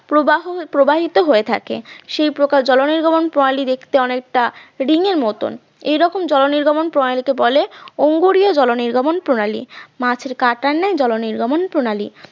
প্রবাহ প্রবাহিত হয়ে থাকে সেই প্রকার জল নির্গমন প্রণালী দেখতে অনেকটা রিংয়ের মতন এইরকম জলনির্গমন প্রণালী কে বলে অঙ্গুরিয় জল নির্গমন প্রণালী, মাছের কাঁটার ন্যায় জল নির্গমন প্রণালী